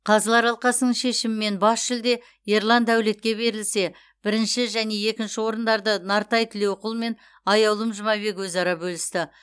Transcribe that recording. қазылар алқасының шешімімен бас жүлде ерлан дәулетке берілсе бірінші және екінші орындарды нартай тілеуқұл мен аяулым жұмабек өзара бөлісті